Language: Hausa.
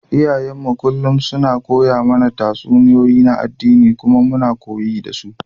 Iyayenmu kullum suna koya mana tatsuniyoyi na addini kuma muna koyi da su.